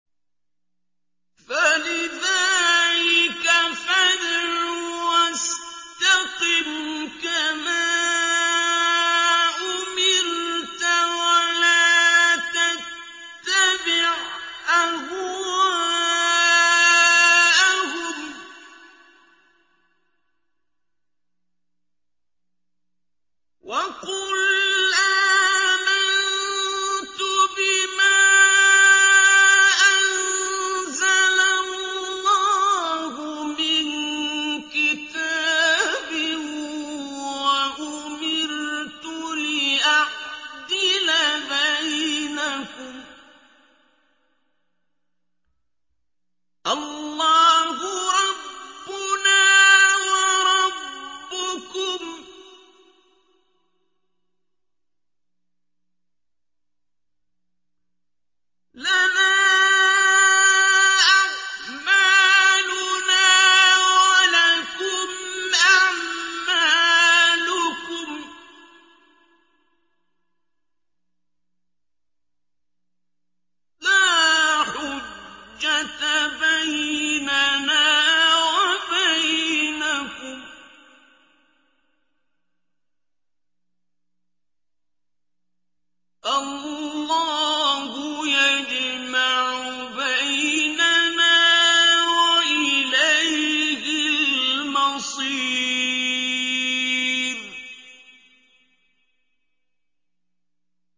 فَلِذَٰلِكَ فَادْعُ ۖ وَاسْتَقِمْ كَمَا أُمِرْتَ ۖ وَلَا تَتَّبِعْ أَهْوَاءَهُمْ ۖ وَقُلْ آمَنتُ بِمَا أَنزَلَ اللَّهُ مِن كِتَابٍ ۖ وَأُمِرْتُ لِأَعْدِلَ بَيْنَكُمُ ۖ اللَّهُ رَبُّنَا وَرَبُّكُمْ ۖ لَنَا أَعْمَالُنَا وَلَكُمْ أَعْمَالُكُمْ ۖ لَا حُجَّةَ بَيْنَنَا وَبَيْنَكُمُ ۖ اللَّهُ يَجْمَعُ بَيْنَنَا ۖ وَإِلَيْهِ الْمَصِيرُ